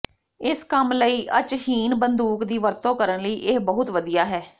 ਇਸ ਕੰਮ ਲਈ ਅਚਹੀਨ ਬੰਦੂਕ ਦੀ ਵਰਤੋਂ ਕਰਨ ਲਈ ਇਹ ਬਹੁਤ ਵਧੀਆ ਹੈ